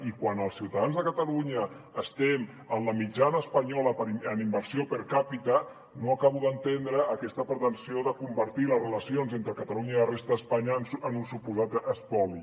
i quan els ciutadans de catalunya estem en la mitjana espanyola en inversió per capita no acabo d’entendre aquesta pretensió de convertir les relacions entre catalunya i la resta d’espanya en un suposat espoli